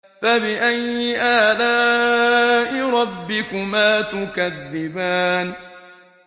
فَبِأَيِّ آلَاءِ رَبِّكُمَا تُكَذِّبَانِ